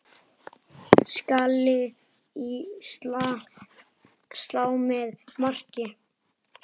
Skalli í slá eða mark?